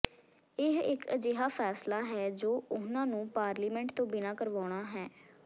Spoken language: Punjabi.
ਇਹ ਇਕ ਅਜਿਹਾ ਫੈਸਲਾ ਹੈ ਜੋ ਉਨ੍ਹਾਂ ਨੂੰ ਪਾਰਲੀਮੈਂਟ ਤੋਂ ਬਿਨਾਂ ਕਰਵਾਉਣਾ ਹੈ